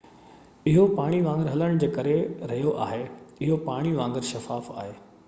اهو پاڻي وانگر هلڻ جي ڪري رهيو آهي اهو پاڻي وانگر شفاف آهي